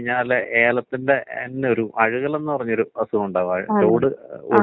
അതാണങ്കി 1000 ഒക്കെ ഇരിക്കൂലേ? അതാണങ്കി അവർക്ക് നമ്മളെല് ശരിയാവാൻ ചാൻസുണ്ടൊ?